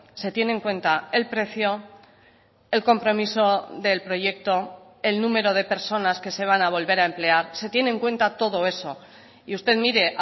se tiene en cuenta el precio el compromiso del proyecto el número de personas que se van a volver a emplear se tiene en cuenta todo eso y usted mire